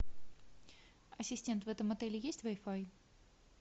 ассистент в этом отеле есть вай фай